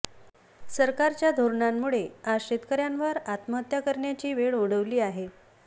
सरकारच्या धोरणांमुळे आज शेतकर्यांवर आत्महत्या करण्याची वेळ ओढवली आहे